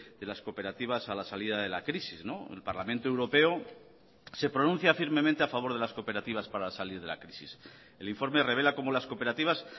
de las cooperativas a la salida de la crisis el parlamento europeo se pronuncia firmemente a favor de las cooperativas para salir de la crisis el informe revela como las cooperativas